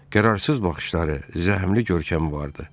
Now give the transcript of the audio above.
Qərarsız baxışları, zəhmli görkəmi vardı.